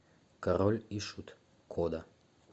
король и шут кода